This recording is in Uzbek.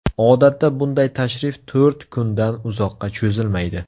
Odatda bunday tashrif to‘rt kundan uzoqqa cho‘zilmaydi.